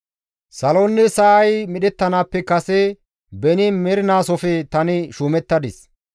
Saloynne sa7ay medhettanaappe kase Beni mernaasofe tani shuumettadis.